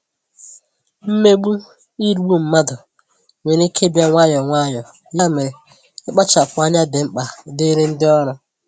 mmegbu/nrigbu mmadụ nwere ike ịbịa nwayọọ nwayọọ, ya mere, ịkpachapụ anya dị mkpa dịrị ndị ọrụ.